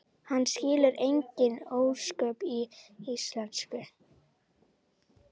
Hann skilur engin ósköp í íslensku.